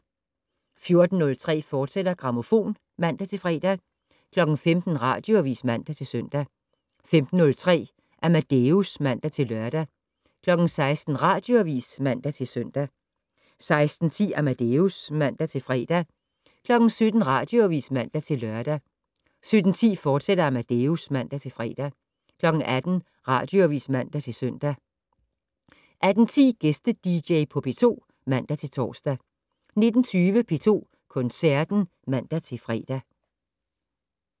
14:03: Grammofon, fortsat (man-fre) 15:00: Radioavis (man-søn) 15:03: Amadeus (man-lør) 16:00: Radioavis (man-søn) 16:10: Amadeus (man-fre) 17:00: Radioavis (man-lør) 17:10: Amadeus, fortsat (man-fre) 18:00: Radioavis (man-søn) 18:10: Gæste-dj på P2 (man-tor) 19:20: P2 Koncerten (man-fre)